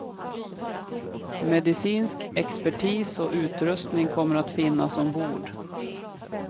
Medicinsk expertis och utrustning kommer att finnas ombord.